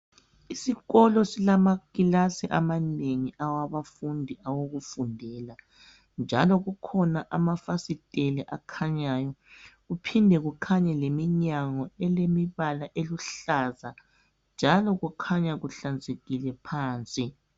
Isikolo silamakilasi amanengi awabafundi awokufundela njalo kukhona amafasitela akhanyayo kuphinde kukhanye leminyango elemibala eluhlaza njalo kukhanya kuhlanzekile phansi.